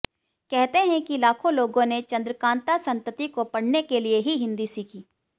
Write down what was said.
कहते हैं कि लाखों लोगों ने चन्द्रकान्ता संतति को पढ़ने के लिए ही हिन्दी सीखी